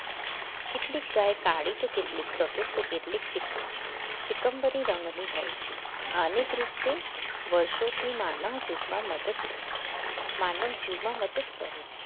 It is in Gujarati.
કેટલીક ગાય કાળી કેટલીક સફેદ તો કેટલી ચીક ચીકમબરી રંગની હોય છે આ અનેક રીતે વર્ષોથી માનવ જેટલા મદદ માનવજીમાં મદદ કરે છે